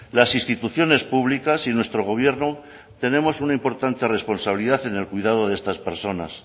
las instituciones públicas y nuestro gobierno tenemos una importante responsabilidad en el cuidado de esas personas